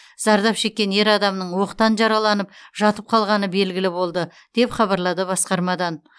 зардап шеккен ер адамның оқтан жараланып жатып қалғаны белгілі болды деп хабарлады басқармадан